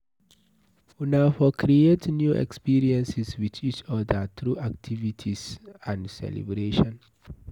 Una for create new experiences with each oda through activities and celebration